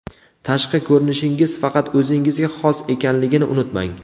Tashqi ko‘rinishingiz faqat o‘zingizga xos ekanligini unutmang!